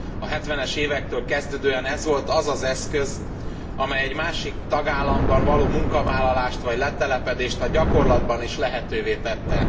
A 70 es évektől kezdődően ez volt az az eszköz, amely egy másik tagállamban való munkavállalást vagy letelepedést a gyakorlatban is lehetővé tette.